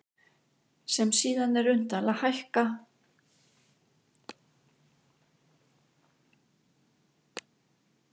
sem síðan er unnt að lækka og eftir atvikum greiða út.